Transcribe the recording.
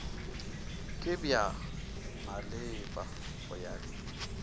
ke bja maleba go ya